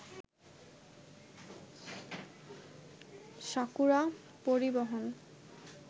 sakura পরিবহন